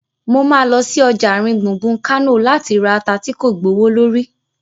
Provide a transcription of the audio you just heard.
Mo ma lọ sí ọjà àárín gbùngbùn Kánò láti ra ata tí kò gbowó lórí